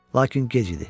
Lakin gec idi.